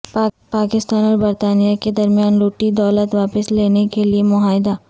پاکستان اور برطانیہ کے درمیان لٹی دولت واپس لانے کے لیے معاہدہ